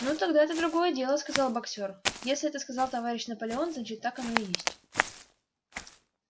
ну тогда это другое дело сказал боксёр если это сказал товарищ наполеон значит так оно и есть